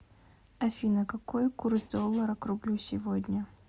афина какой курс доллара к рублю сегодня